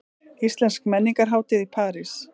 Íslensk menningarhátíð í París